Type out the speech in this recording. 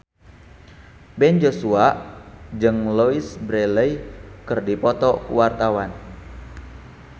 Ben Joshua jeung Louise Brealey keur dipoto ku wartawan